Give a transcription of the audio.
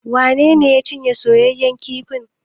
Wane ne ya cinye soyaƴan kifin?